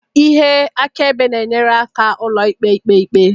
ihe akaebe na-enyere aka ụlọikpe ikpe ikpe